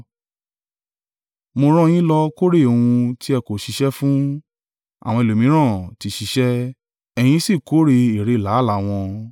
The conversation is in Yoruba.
Mo rán yín lọ kórè ohun tí ẹ kò ṣiṣẹ́ fún. Àwọn ẹlòmíràn ti ṣiṣẹ́, ẹ̀yin sì kórè èrè làálàá wọn.”